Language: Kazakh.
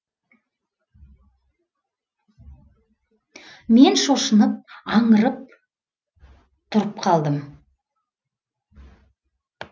мен шошынып аңырып тұрып қалдым